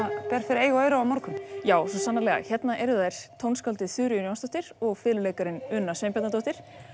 ber fyrir eyru og augu á morgun já svo sannarlega hérna eru þær tónskáldið Þuríður Jónsdóttir og fiðluleikarinn Una Sveinbjarnardóttir